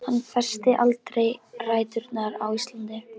Hann festir aldrei rætur á Íslandi.